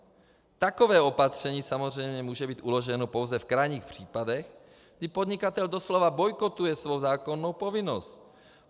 Takové opatření samozřejmě může být uloženo pouze v krajních případech, kdy podnikatel doslova bojkotuje svou zákonnou povinnost.